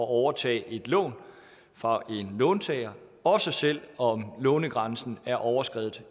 at overtage et lån fra en låntager også selv om lånegrænsen er overskredet